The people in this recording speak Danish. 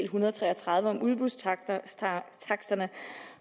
hundrede og tre og tredive om udbudstakster